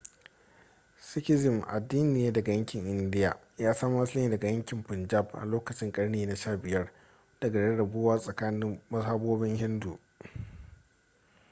sikhism addini ne daga yankin india ya samo asali ne daga yankin punjab a lokacin karni na 15 daga rarrabuwa tsakanin mazhabobin hindu